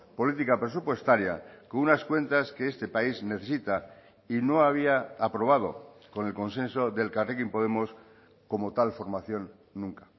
política presupuestaria con unas cuentas que este país necesita y no había aprobado con el consenso de elkarrekin podemos como tal formación nunca